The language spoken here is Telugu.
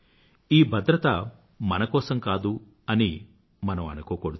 ఈ భద్రత మన కోసం కాదు అని మనం అనుకోకూడదు